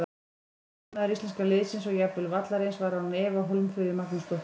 Besti maður íslenska liðsins og jafnvel vallarins var án efa Hólmfríður Magnúsdóttir.